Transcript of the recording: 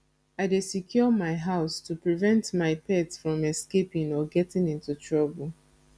i dey secure my house to prevent my pet from escaping or getting into trouble